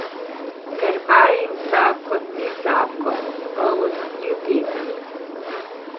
Ker vajin zakon ni zakon, poln ljubezni.